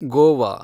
Goa